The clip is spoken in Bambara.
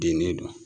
Dennen don